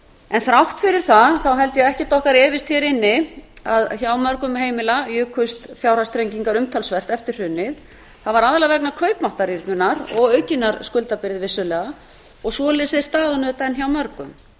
en þrátt fyrir það held ég að ekkert okkar hér inni efist um að hjá mörgum heimila jukust fjárhagsþrengingar umtalsvert eftir hrunið það var aðallega vegna kaupmáttarrýrnunar og aukinnar skuldabyrði vissulega og þannig er staðan auðvitað enn hjá mörgum